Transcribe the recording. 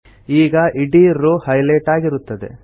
ಈಗ ಇಡೀ row highlight ಆಗಿರುತ್ತದೆ